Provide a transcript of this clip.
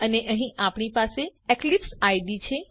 અને અહીં આપણી પાસે એક્લીપ્સ આઇડીઇ છે